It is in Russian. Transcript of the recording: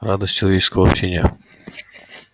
радость человеческого общения